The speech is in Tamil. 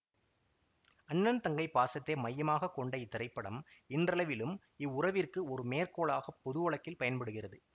அண்ணன் தங்கை பாசத்தை மையமாக கொண்ட இத்திரைப்படம் இன்றளவிலும் இவ்வுறவிற்கு ஒரு மேற்கோளாகப் பொதுவழக்கில் பயன்படுகிறது